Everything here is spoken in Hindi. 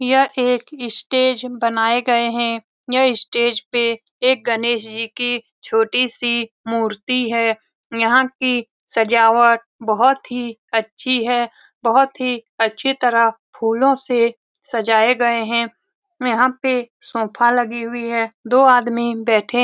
ये एक स्टेज बनाए गए है ये स्टेज पे एक गणेश जी की छोटी सी मूर्ति है यहाँ की सजावट बहुत ही अच्छी है बहुत ही अच्छी तरह फूलों से सजाए गए है यहाँ पे सोफ़ा लगी हुई है दो आदमी बैठे --